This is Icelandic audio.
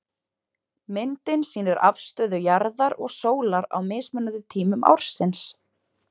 Myndin sýnir afstöðu jarðar og sólar á mismunandi tímum ársins.